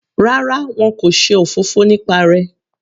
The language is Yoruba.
Rárá, wọn kò ṣe òfófó nípa rẹ.